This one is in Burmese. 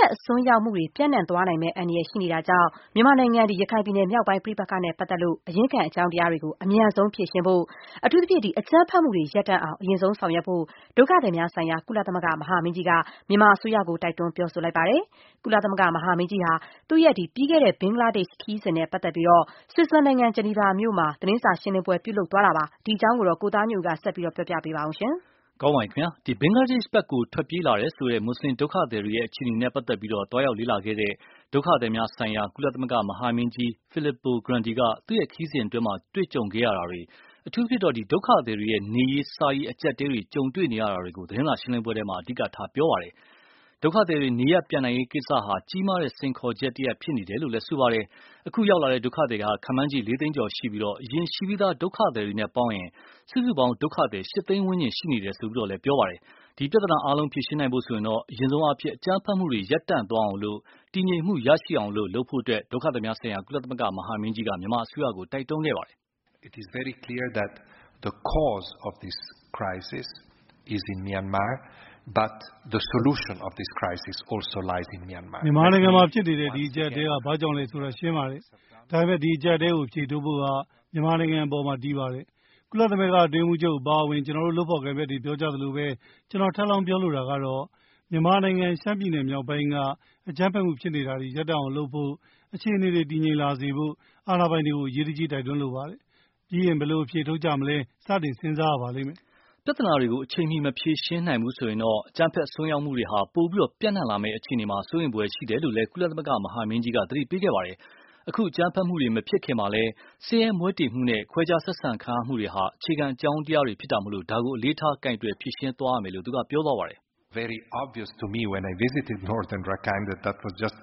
က် အစွန်းရောက်မှုတွေ ပျံ့နှံ့သွားနိုင်မယ့် အန္တရာယ်ရှိနေတာကြောင့် မြန်မာနိုင်ငံ ရခိုင်ပြည်နယ်မြောက်ပိုင်းပဋိပက္ခနဲ့ပတ်သက်လို့ အရင်းခံအကြောင်းတရားတွေကို အမြန်ဆုံးဖြေရှင်းဖို့ အထူးသဖြင့် အကြမ်းဖက်မှုတွေ ရပ်တန့်အောင် အရင်ဆုံးဆောင်ရွက် ဖို့ ဒုက္ခသည်များဆိုင်ရာ ကုလသမဂ္ဂမဟာမင်းကြီးက မြန်မာအစိုးရကို တိုက်တွန်းပြောဆို လိုက်ပါတယ်။ ကုလသမဂ္ဂမဟာမင်းကြီးဟာ သူ့ရဲ့ ပြီးခဲ့တဲ့ ဘင်္ဂလားဒေ့ရ်ှခရီးစဉ် နဲ့ပတ်သက်ပြီး ဆွီဇာလန်နိုင်ငံ Geneva မှာ သတင်းစာရှင်းလင်းပွဲပြုလုပ်သွားတာပါ။ ဒီအကြောင်းကိုတော့ ကိုသားညွန့်ဦးက ဆက်ပြောပြပါလိမ့်မယ်။ ဘင်္ဂလားဒေ့ရ်ှဖက်ကို ထွက်ပြေးလာတယ်ဆိုတဲ့ မွတ်ဆလင်ဒုက္ခသည်တွေရဲ့ အခြေအနေနဲ့ပတ်သက်လို့ သွားရောက်လေ့လာခဲ့တဲ့ ဒုက္ခသည်များဆိုင်ရာ ကုလသမဂ္ဂမဟာမင်းကြီး Filippo Grandi က သူ့ရဲ့ခရီးစဉ်အတွင်း တွေ့ကြုံခဲ့တာတွေ၊ အထူးသဖြင့်တော့ ဒုက္ခသည်တွေရဲ့ နေရေးစားရေးအကြပ်အတည်းကြုံနေရတာတွေကို သတင်းစာရှင်းလင်းပွဲမှာ အဓိကထားပြောခဲ့ပါတယ်။ ဒုက္ခသည်တွေ နေရပ်ပြန်နိုင်ရေးကိစ္စ ဟာ ကြီးမားတဲ့စိန်ခေါ်ချက်တရပ်ဖြစ်နေတယ်လို့ ပြောပါတယ်။ အခု ရောက်လာတဲ့ ဒုက္ခသည် ခန့်မှန်းချေ လေးသိန်းကျော်နဲ့ အရင်ရှိပြီးသား ဒုက္ခသည်တွေ ပေါင်းရင် စုစုပေါင်း ဒုက္ခသည် ၈သိန်းဝန်းကျင်ရှိနေတယ်လို့လည်း ပြောပါတယ်။ ဒီပြဿနာအားလုံး ဖြေရှင်းဖို့တော့ အရင်ဆုံးအားဖြင့် အကြမ်းဖက်မှုတွေ ရပ်တန့်သွားအောင် တည်ငြိမ်မှု ရအောင် လုပ်ဖို့ ဒုက္ခသည်များဆိုင်ရာကုလသမဂ္ဂမဟာမင်းကြီးက မြန်မာအစိုးရကို တိုက်တွန်းခဲ့ပါတယ်။ "မြန်မာနိုင်ငံမှာဖြစ်နေတဲ့ ဒီအကြပ်အတည်းက ဘာကြောင့်လဲဆိုတာ ရှင်းပါတယ်။ ဒါပေမယ့် ဒီ အကြပ်အတည်းကို အဖြေထုတ်ဖို့က မြန်မာနိုင်ငံအပေါ် တည်ပါတယ်။ ကုလသမဂ္ဂအတွင်းရေးမှူးချုပ်အပါအဝင် ကျနော်တို့လုပ်ဖော်ကိုင်ဖက်တွေ ပြောကြသလိုပဲ ကျနော် ထပ်လောင်းပြောလိုတာကတော့ - မြန်မာနိုင်ငံ ရခိုင်ပြည်နယ်မြောက်ပိုင်းက အကြမ်းဖက်မှုဖြစ်နေတာတွေ ရပ်အောင်လုပ်ဖို့ အခြေအနေတွေ တည်ငြိမ်လာစေဖို့ အာဏာပိုင်တွေကို အရေးတကြီး တိုက်တွန်း လိုပါတယ်။ ပြီးရင် ဘယ်လိုအဖြေထုတ်ကြမလဲ စတင် စဉ်းစားရပါမယ်။ ” ပြဿနာတွေကို အချိန်မှီမဖြေရှင်းနိုင်ဘူးဆိုရင်တော့ အကြမ်းဖက်အစွန်းရောက်မှုတွေဟာ ပိုပြီး ပျံ့နှံ့လာမယ့်အခြေအနေမှာ စိုးရိမ်ဖွယ်ရှိတယ်လို့လည်း ကုလသမဂ္ဂမဟာမင်းကြီးက သတိပေးခဲ့ပါတယ်။ အခု အကြမ်းဖက်မှုတွေမဖြစ်ခင်မှာလည်း ဆင်းရဲမွဲတေမှုနဲ့ ခွဲခြားဆက်ဆံမှုတွေဟာ အခြေခံ အကြောင်းတရားတွေမို့ ဒါကို အလေးထား ကိုင်တွယ်ဖြေရှင်းသွားရမယ်လို့ ဆိုပါတယ်။ “ကျနော် ရခိုင်ပြည်နယ်မြောက်ပိုင်းကို